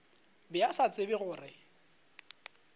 be a sa tsebe gore